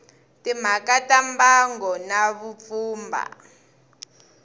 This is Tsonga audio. timhaka ta mbango na vupfhumba